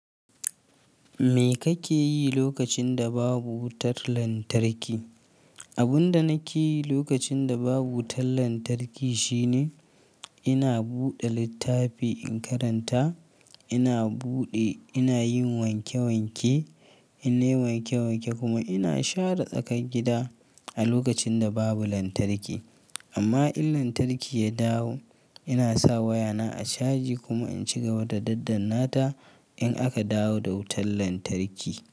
Me kake yi lokacin da babu wutar lantarki? Abin da nake yi lokacin da babu wutar lantarki shine ina buɗe littafi in karanta, ina buɗe, ina yin wanke-wanke, inna yi wanke-wanke kuma ina share tsakar gida a lokacin da babu lantarki. Amma in lantarki ya dawo, ina sa wayana a caji kuma in ci gaba da daddan nata in aka dawo da wutar lantarki.